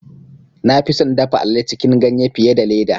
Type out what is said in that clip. Na fi son dafa alale cikin ganye fiye da leda.